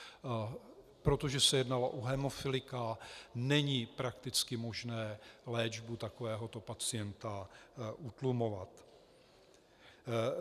Protože se jednalo o hemofilika, není prakticky možné léčbu takovéhoto pacienta utlumovat.